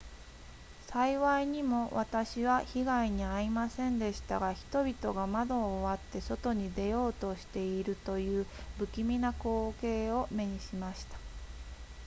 幸いにも私は被害に遭いませんでしたが人々が窓を割って外に出ようとしているという不気味な光景を目にしました